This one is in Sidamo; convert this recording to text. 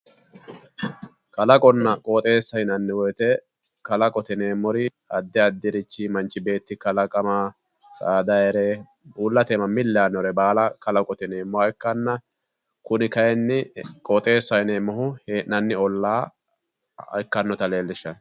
Kalaqonna qooxxeessa yinnanni woyte kalaqote yineemmori addi addirichi manchi beetti kalaqama saadayire uullate mili yaanore baalla kalaqote yineemmoha ikkanna kuni kayinni qooxxeessaho yineemmohu hee'nanni olla ikkanotta leellishano